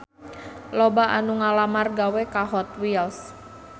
Loba anu ngalamar gawe ka Hot Wheels